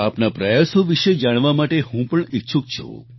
આપના પ્રયાસો વિશે જાણવા માટે હું પણ ઈચ્છુક છું